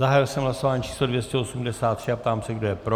Zahájil jsem hlasování číslo 283 a ptám se, kdo je pro.